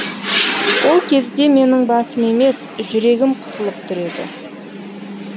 ол кезде менің басым емес жүрегім қысылып тұр еді